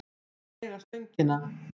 Hún má eiga Stöngina.